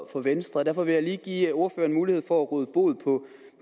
for venstre og derfor vil jeg lige give ordføreren mulighed for at råde bod